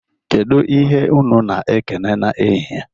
Kedụ ihe unu na-ekene n'ehihie?